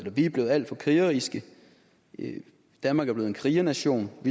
er blevet alt for krigeriske at danmark er blevet en krigernation og